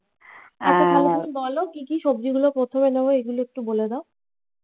আহ বলো কি কি সবজি গুলো প্রথমে দেব এগুলো একটু বলে দাও।